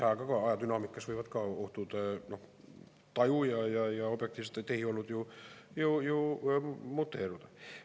Ajaga, ajadünaamikas võivad ohutaju ja objektiivsed tehiolud ju muteeruda.